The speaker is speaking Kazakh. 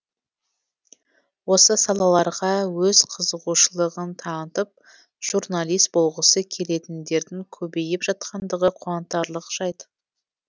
осы салаларға өз қызығушылығын танытып журналист болғысы келетіндердің көбейіп жатқандығы қуантарлық жайт